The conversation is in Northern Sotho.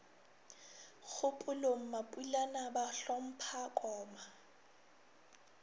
kgopolong mapulana ba hlompha koma